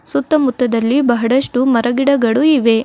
ಸುತ್ತ ಮುತ್ತದಲ್ಲಿ ಬಹಳಷ್ಟು ಮರ ಗಿಡಗಳು ಇವೆ.